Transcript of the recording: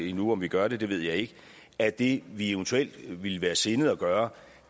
endnu om vi gør det ved jeg ikke at det vi eventuelt ville være sindet at gøre